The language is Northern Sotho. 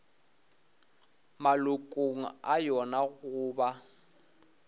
malokong a yona go ba